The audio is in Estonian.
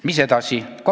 Mis edasi?